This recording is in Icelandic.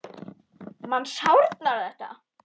Manni sárnar þetta.